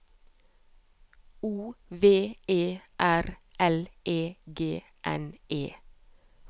O V E R L E G N E